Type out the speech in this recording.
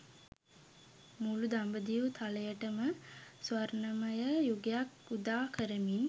මුළු දඹදිව් තලයට ම ස්වර්ණමය යුගයක් උදා කරමින්.